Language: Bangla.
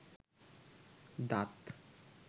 দাঁত